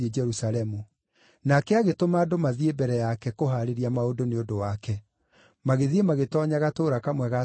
Nake agĩtũma andũ mathiĩ mbere yake kũhaarĩria maũndũ nĩ ũndũ wake, magĩthiĩ magĩtoonya gatũũra kamwe ga Samaria;